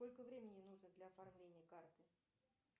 сколько времени нужно для оформления карты